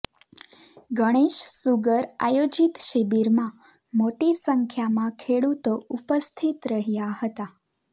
Ganesh sugar આયોજીત શિબિરમાં મોટી સંખ્યામાં ખેડૂતો ઉપસ્થિત રહ્યાં હતાં